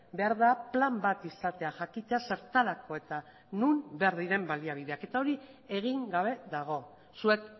behar da plan bat izatea jakitea zertarako eta non behar diren baliabideak eta hori egin gabe dago zuek